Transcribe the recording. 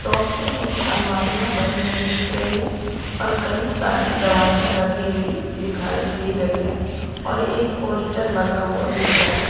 Soap में मुझे अलमारियां बनी हुई दिख रही है और कई सारी दवाइयां रखी हुई दिखाई दे रही है और एक पोस्टर लगा हुआ दिख रहा है।